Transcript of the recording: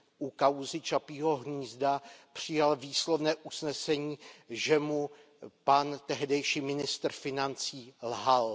u kauzy Čapího hnízda, výslovné usnesení, že mu pan tehdejší ministr financí lhal.